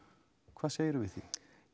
hvað segir þú við því